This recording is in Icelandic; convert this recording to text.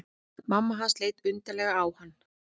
Mamma hans leit undarlega á hann.